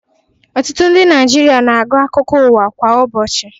Ọtutụ ndi naijịrịa na-agu akụkọ uwa kwa ụbochi